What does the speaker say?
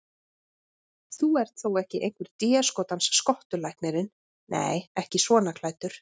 Þú ert þó ekki einhver déskotans skottulæknirinn. nei, ekki svona klæddur.